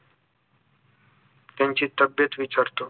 त्यांची तब्येत विचारतो